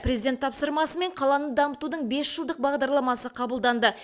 президент тапсырмасымен қаланы дамытудың бес жылдық бағдарламасы қабылданды